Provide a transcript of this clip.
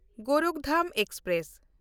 Gorakhdham express